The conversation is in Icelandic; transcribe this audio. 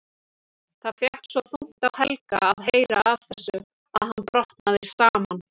Það fékk svo þungt á Helga að heyra af þessu að hann brotnaði saman.